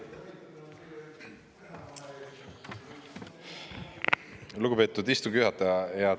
Lugupeetud istungi juhataja!